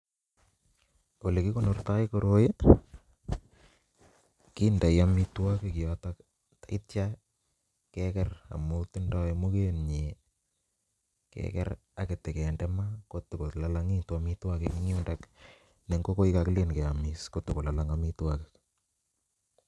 Ole kikonorto koroi kindoi omitwokik yoton ak ityo Keker amun tindoi muket nyin Keker ak itokunde kotakololongitun omitwokik en yuton, ne nkokor kokilele. Kiyomiss Kotor kololong omitwokik.